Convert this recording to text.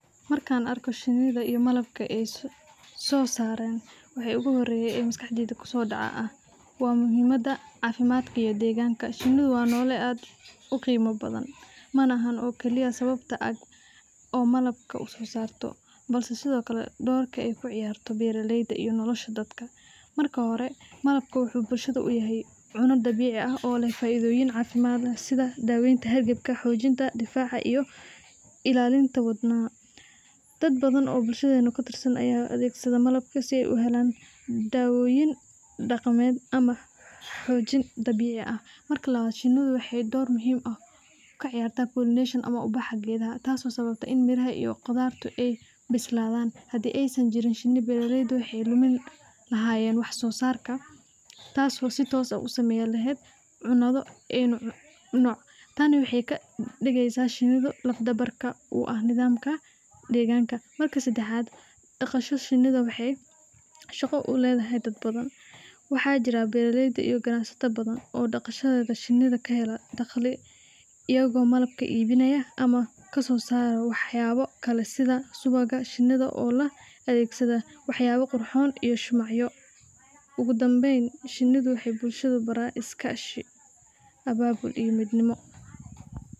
Markan arko shining iyo malabka ay soo saaran waxa ogu xoreeye oo maskaxdey kuso dhoco aya ah waa muhiimada caafimaadka iyo deegganka, shinida waa noole aad uqeyman badan malahan keliya sababta oo malabka uso saarta balse sidokale doorka ay kaciyarto beeraleyda iyo nolosha dadka marka hore malabka wuxuu bulshada uyahay cune dabiici ah oo leh faa'iidoyin caafimad leh sida daaweynta hergebka, xoojinta difaca iyo illalinta wadnaha, dad badan oo bulshadeena katirsan aya adeeggsado malab si ay u helan daawoyin dhaqameed ama xoojin dabiici ah, marka labad shinida waxay door muhiim ah kaciyaarta pollination ama ubaxa gedaha taaso sababto in miraha iyo qudaarta ay bisladan, hadii aysan jirin shini beeraleyda waxaa lumin lahayen wax soo sarka taaso si toos ah usaameyn leheyd cuna an cuno, taani waxay kadhigeysa shinidu laf dhabarka u ah nidamka deegganka, marka sedaxaad dhaqasho shinida waxay shaqo uledahay dad badan, waxaa jiraa beeraleyda iyo ganacsato badan oo dhaqashada shinida kahela dhaqli iyago malabka ibinaya ama kasoo saaraya wax yabo kale sida subaga, shinida oo la adeegsada wax yaba qurxon iyo shumacyo, ogu dameyn shinidu waxay bulshada barta iskashi, abaabul iyo midnimo